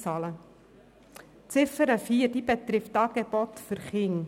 Die Ziffer 4 betrifft Angebote für Kinder.